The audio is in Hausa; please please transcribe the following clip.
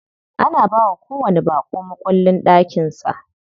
Ana bawa kowanni baƙo mukullin ɗakin sa.